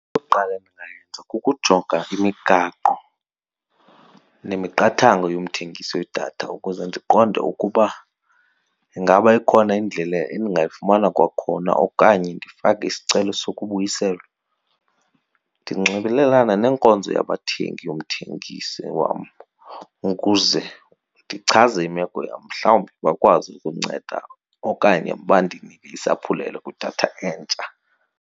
Eyokuqala endingayenza kukujonga imigaqo nemiqathango yomthengisi wedatha ukuze ndiqonde ukuba ingaba ikhona indlela endingayifumana kwakhona okanye ndifake isicelo sokubuyiselwa. Ndinxibelelane neenkonzo yabathengi yomthengisi wam ukuze ndichaze imeko yam, mhlawumbi bakwazi ukundinceda okanye bandinike isaphulelo kwidatha entsha.